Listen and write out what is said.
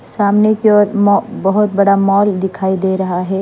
सामने की ओर मॉ-- बहुत बड़ा मॉल दिखाई दे रहा है।